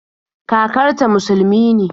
Kakarta musulumi ne